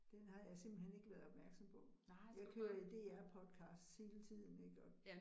Den har jeg simpelthen ikke været opmærksom på. Jeg kører jo DR podcasts hele tiden ik og